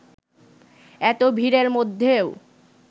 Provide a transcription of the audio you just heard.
এত ভিড়ের মধ্যেও